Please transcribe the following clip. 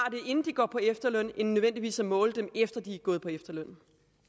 inden de går på efterløn end nødvendigvis at måle dem efter at de er gået på efterløn